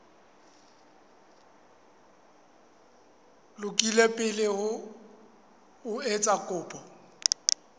lokile pele o etsa kopo